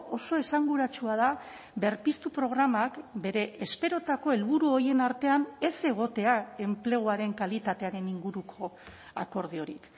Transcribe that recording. oso esanguratsua da berpiztu programak bere esperotako helburu horien artean ez egotea enpleguaren kalitatearen inguruko akordiorik